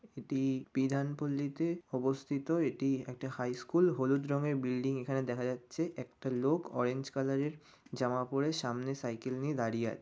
এটি বিধান পল্লীতে অবস্থিত। এটি একটি হাই স্কুল । হলুদ রঙের বিল্ডিং এখানে দেখা যাচ্ছে। একটা লোক অরেঞ্জ কালার -এর জামা পরে সামনে সাইকেল নিয়ে দাঁড়িয়ে আয় --